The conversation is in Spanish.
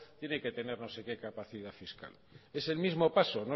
tiene que tener no se qué capacidad fiscal es el mismo paso